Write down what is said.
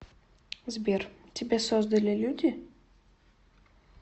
сбер тебя создали люди